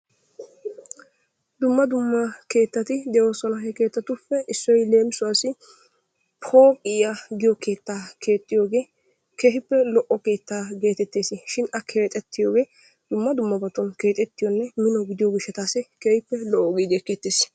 Dumma dumma keettati de'oososna. He kegeetuppe issoy leemisuwassi pooqqiya giyo keetaa keexxiyoge keehippe lo'o keetaa geetes shin a keexetiyogee dumma dumma keexettiyonne mino gidiyo gishshatassi keehippe lo'o giidi ekeetees.